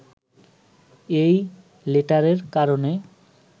এই লেটারের কারণে